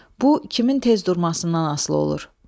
Bu kimin tez durmasından asılı olur.